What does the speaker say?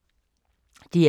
DR K